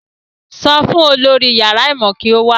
Sọ fún olórí yàrá ìmọ̀ kí ó wá